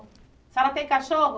A senhora tem cachorro?